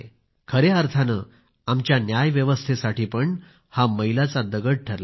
खऱ्या अर्थाने आमच्या न्याय व्यवस्थेसाठी पण हा मैलाचा दगड ठरला आहे